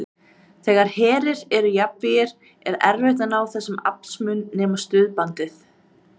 Þegar herir eru jafnvígir er erfitt að ná þessum aflsmun nema staðbundið.